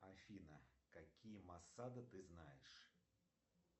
афина какие массады ты знаешь